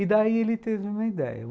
E daí ele teve uma ideia.